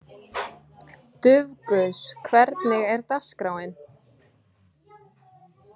Dufgus, hvernig er dagskráin?